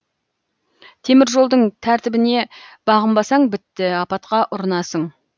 темір жолдың тәртібіне бағынбасаң бітті апатқа ұрынасың